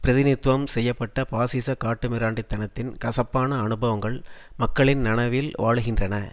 பிரிதிநிதித்துவம் செய்ய பட்ட பாசிசக் காட்டுமிராண்டித்தனத்தின் கசப்பான அனுபவங்கள் மக்களின் நனவில் வாழுகின்றன